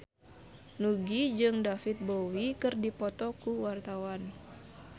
Nugie jeung David Bowie keur dipoto ku wartawan